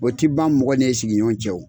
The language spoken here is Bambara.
O ti ban mɔgɔ n'i sigiɲɔgɔn cɛ